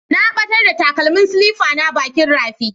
Na ɓatar da takalmin silifa na bakin rafi.